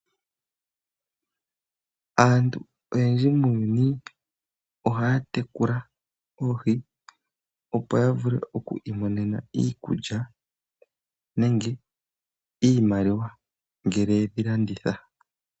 Aantu oyendji muuyuni ohaya tekula oohi, opo ya vule okwiimonena iikulya nenge iimaliwa, ngele ye dhi landitha.